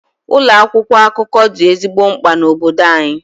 Ụlọ akwụkwọ akụkọ dị ezigbo mkpa na obodo anyị.